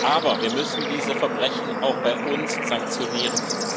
Aber wir müssen diese Verbrechen auch bei uns sanktionieren.